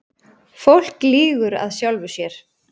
Fólk lýgur að sjálfu sér.